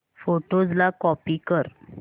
photos ला copy कर